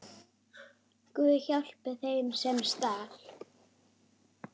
Guð, hjálpi þeim, sem stal!